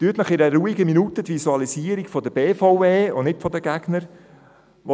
Führen Sie sich in einer ruhigen Minute die Visualisierung der BVE und nicht diejenige der Gegner zu Gemüte.